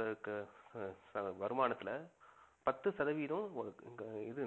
லட்சம் வருமானத்துல பத்து சதவீதம் இது